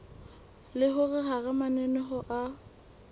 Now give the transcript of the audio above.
le hore hara mananeo a